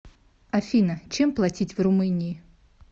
афина чем платить в румынии